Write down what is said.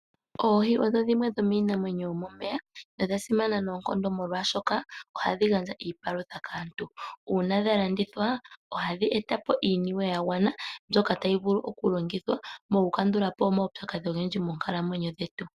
Oohi odho dhimwe dho miinamwenyo yo momeya na odha simana noonkondo molwashoka oha dhi gandja iipalutha kaantu. Uuna dha landithwa oha dhi eta po iiniwe yagwana mbyoka tayi vulu oku longithwa moku kandulapo omaupyakadhi ogendji moonkalamwenyo dhetu.